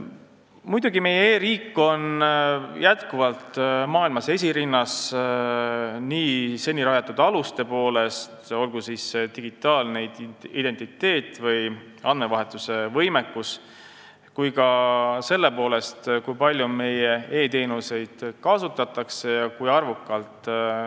Muidugi on meie e-riik endiselt maailmas esirinnas nii seni rajatud aluste poolest, olgu digitaalne identiteet või andmevahetuse võimekus, kui ka meie arvukate e-teenuste kasutuse poolest.